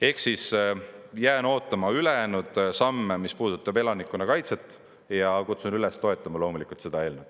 Ehk siis jään ootama ülejäänud samme, mis puudutavad elanikkonnakaitset, ja kutsun loomulikult üles toetama seda eelnõu.